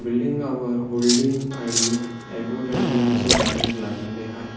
Building वर holding आणि advertise चे बॅनर लागलेले आहेत.